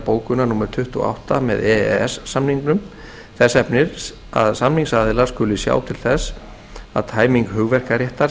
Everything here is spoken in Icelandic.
bókunar númer tuttugu og átta með e e s samningnum þess efnis að samningsaðilar skuli sjá til þess að tæming hugverkaréttar sé